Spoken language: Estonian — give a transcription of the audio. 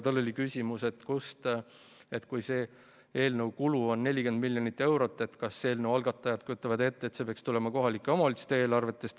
Tal oli küsimus, et kui selle eelnõu kulu on 40 miljonit eurot, siis kas eelnõu algatajad kujutavad ette, et see peaks tulema kohalike omavalitsuste eelarvest.